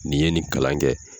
Nin ye nin kalan kɛ.